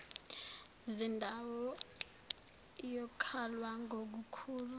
zindawo iyokalwa ngukukhula